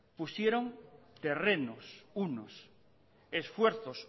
pusieron terrenos unos esfuerzos